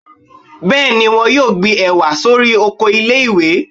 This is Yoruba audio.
bẹẹni, wón yóò gbí ewá sorí ọkọ ilé ìwé